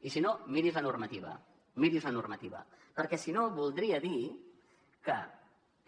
i si no miri’s la normativa miri’s la normativa perquè si no voldria dir que